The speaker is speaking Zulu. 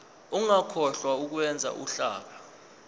ungakhohlwa ukwenza uhlaka